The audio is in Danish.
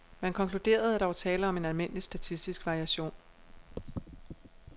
Man konkluderede, at der var tale om en almindelig statistisk variation.